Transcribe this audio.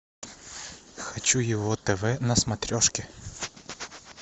хочу его тв на смотрешке